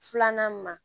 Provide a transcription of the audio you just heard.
Filanan ma